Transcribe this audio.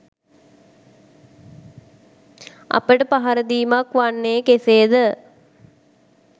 අපට පහර දීමක් වන්නේ කෙසේද?